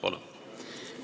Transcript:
Palun!